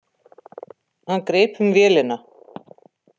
Hann greip um vélina.